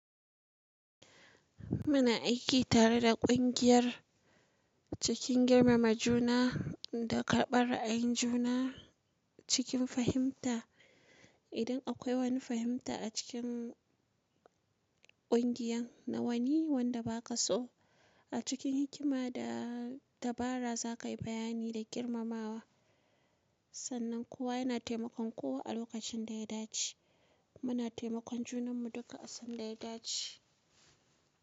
Muna aiki tare da kungiyar cikin girmama juna da karbar a yin juna cikin fahimta. Idan akwai wani fahimta a cikin kungiyan na wani wanda ba ka so a cikin hikima da dabara za ka yi bayani da girmamawa. Sannan kowa yana taimakon kowa a lokacin da ya dace. Muna taimakon junanmu duka a san da ya dace.